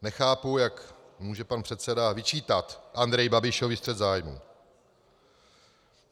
Nechápu, jak může pan předseda vyčítat Andreji Babišovi střet zájmu.